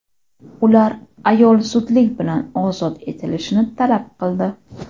Ular ayol zudlik bilan ozod etilishini talab qildi.